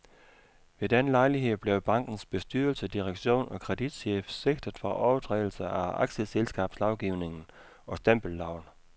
Ved den lejlighed blev bankens bestyrelse, direktion og kreditchef sigtet for overtrædelse af aktieselskabslovgivningen og stempelloven.